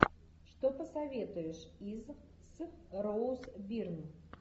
что посоветуешь из с роуз бирн